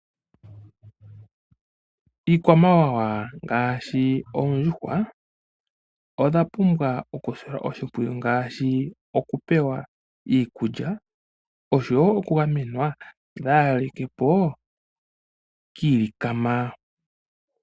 Iikwamawawa ngaashi oondjuhwa odha pumbwa okusilwa oshimpwiyu ngaashi okupewa Iikulya oshowoo okugamenwa opo dhaalikepo kiilikama.